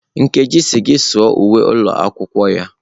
Nkechi sị gị saa uwe ụlọ akwụkwọ ya.